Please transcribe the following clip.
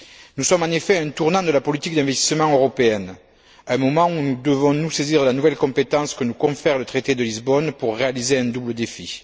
Nous sommes en effet à un tournant de la politique d'investissement européenne, à un moment où nous devons nous saisir de la nouvelle compétence que nous confère le traité de Lisbonne pour réaliser un double défi.